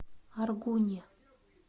аргуне